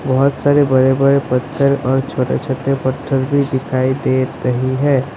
बहुत सारे बड़े बड़े पत्थर और छोटे छोटे पत्थर भी दिखाई दे रही है।